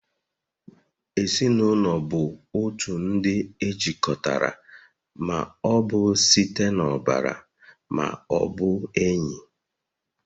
Ezinụlọ bụ otu ndị e jikọtara ma ọ bụ site n'ọbara ma ọ bụ enyi